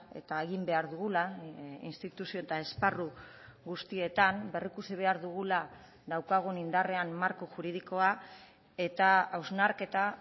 eta egin behar dugula instituzio eta esparru guztietan berrikusi behar dugula daukagun indarrean marko juridikoa eta hausnarketa